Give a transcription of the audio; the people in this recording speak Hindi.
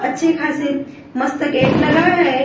अच्छे खासे मस्त गेट लगा है।